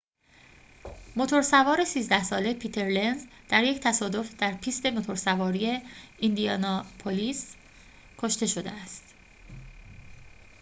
موتور سوار ۱۳ ساله پیتر لنز در یک تصادف در پیست موتورسواری ایندیاناپولیس کشته شده است